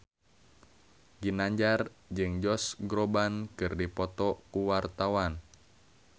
Ginanjar jeung Josh Groban keur dipoto ku wartawan